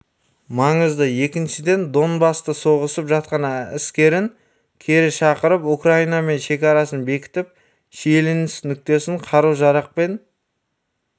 маңызды екіншіден донбаста соғысып жатқан әскерін кері шақырып украинамен шекарасын бекітіп шиеленіс нүктесіне қару-жарақ пен